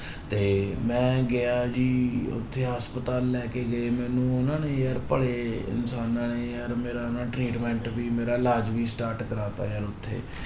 ਤੇ ਮੇਂ ਗਿਆ ਜੀ ਉੱਥੇ ਹਸਪਤਾਲ ਲੈ ਕੇ ਗਏ ਮੈਨੂੰ ਉਹਨਾਂ ਨੇ ਯਾਰ ਭਲੇ ਇਨਸਾਨਾਂ ਨੇ ਯਾਰ ਮੇਰਾ ਨਾ treatment ਵੀ ਮੇਰਾ ਇਲਾਜ ਵੀ start ਕਰਵਾ ਦਿੱਤਾ ਯਾਰ ਉੱਥੇ